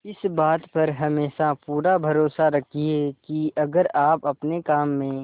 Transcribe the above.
इस बात पर हमेशा पूरा भरोसा रखिये की अगर आप अपने काम में